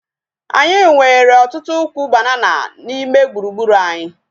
Anyị nwere ọtụtụ ukwu banana n'ime gburugburu anyi